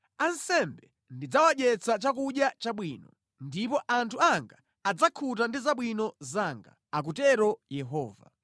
Ansembe ndidzawadyetsa chakudya chabwino, ndipo anthu anga adzakhuta ndi zabwino zanga,” akutero Yehova.